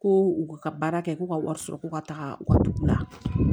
Ko u ka baara kɛ k'u ka wari sɔrɔ ko ka taga u ka dugu la